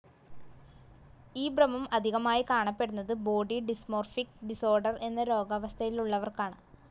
ഈ ഭ്രമം അധികമായി കാണപ്പെടുന്നത് ബോഡി ഡിസ്‌മോർഫിക് ഡിസോർഡർ എന്ന രോഗാവസ്ഥയറിലുള്ളവർക്കാണ്.